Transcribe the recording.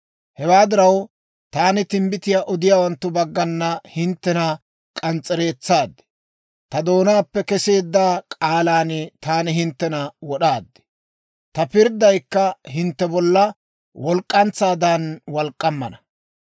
Hewaa diraw, taani timbbitiyaa odiyaawanttu baggana hinttena k'ans's'ereetsaad; ta doonaappe keseedda k'aalan taani hinttena wod'aad. Ta pirddaykka hintte bolla walk'k'antsaadan walk'k'ammana.